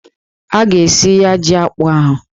A ga-esi ya jí akpụ ahụ echi